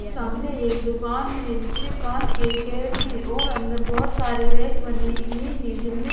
सामने एक दुकान है जिसमें कांच के गेट हैं और अंदर बहुत सारे रैंक बने हुए हैं जिनमें--